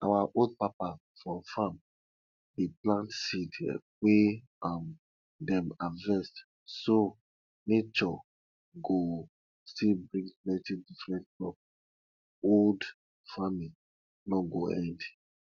our old papa for farm dey plant seed wey um dem harvest so nature go still bring plenty different crop old farming no go end